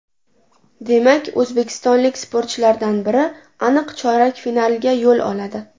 Demak, o‘zbekistonlik sportchilardan biri aniq chorak finalga yo‘l oladi.